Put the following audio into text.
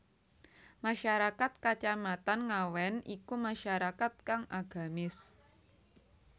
Masyarakat Kacamatan Ngawen iku masyarakat kang agamis